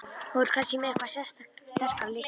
Þú ert kannski með eitthvað sterkara líka?